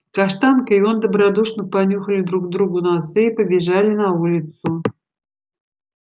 каштанка и он добродушно понюхали друг другу носы и побежали на улицу